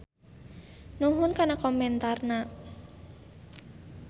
Nuhun kana komentarna.